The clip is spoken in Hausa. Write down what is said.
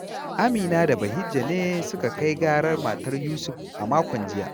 Amina da Bahijja ne suka kai garar matar Yusuf a makon jiya